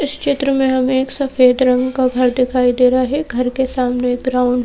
इस क्षेत्र में हमें एक सफेद रंग का घर दिखाई दे रहा है घर के सामने एक ग्राउंड --